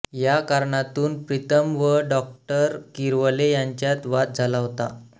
या कारणातून प्रीतम व डॉ किरवले यांच्यात वाद झाला होता